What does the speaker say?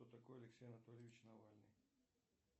кто такой алексей анатольевич навальный